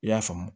I y'a faamu